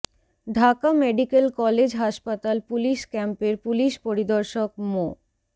Dhaka medical college হাসপাতাল police ক্যাম্পের police পরিদর্শক মো